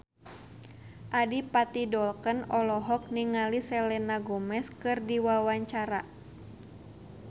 Adipati Dolken olohok ningali Selena Gomez keur diwawancara